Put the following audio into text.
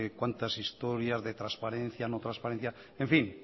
cuantas historias de transparencia no transparencia en fin